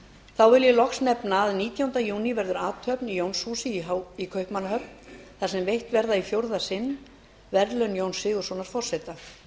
þá vil ég loks nefna að nítjánda júní verður athöfn í jónshúsi í kaupmannahöfn þar sem veitt verða í fjórða sinn verðlaun jóns sigurðssonar forseta